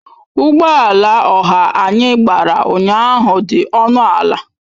Ụgbọ ala ọha anyị gbara ụnyahụ dị ọnụ ala